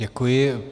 Děkuji.